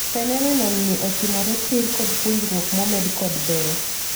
Phenomenon ni ochimore tiir kod puonjruok momed kod ber.